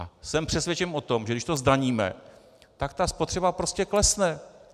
A jsem přesvědčen o tom, že když to zdaníme, tak ta spotřeba prostě klesne.